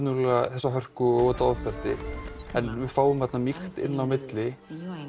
þessa hörku og þetta ofbeldi en við fáum þarna mýkt inn á milli